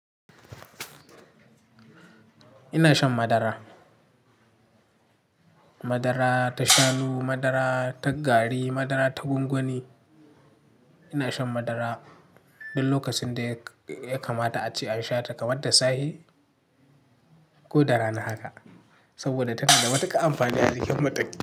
Ina shan madara. Madara ta shanu, madara ta gari, madara ta gwangwani. Ina shan madara duk lokacin da ya kamata a ce an shata kamar da safe ko da rana haka. Saboda tana da matuƙa amfani a jikin mutum.